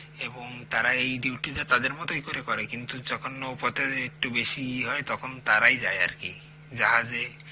এবং তারাই ডিউটিটা তাদের মতই করেই করে কিন্তু যখন নৌপথে একটু বেশিই হয় তখন তারাই যায় আরকি জাহাজে